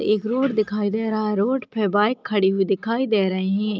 एक रोड दिखाई दे रहा है रोड पे बाइक खड़ी हुई दिखाई दे रही है।